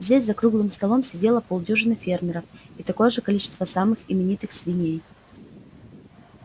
здесь за круглым столом сидело полдюжины фермеров и такое же количество самых именитых свиней